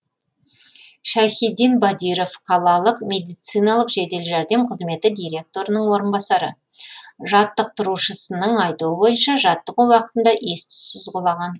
шайхидин бадиров қалалық медициналық жедел жәрдем қызметі директорының орынбасары жаттықтырушысының айтуы бойынша жаттығу уақытында ес түссіз құлаған